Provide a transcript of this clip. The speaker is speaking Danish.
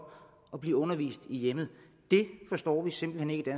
at blive undervist i hjemmet vi forstår simpelt hen ikke